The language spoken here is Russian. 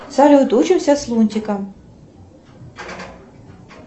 салют учимся с лунтиком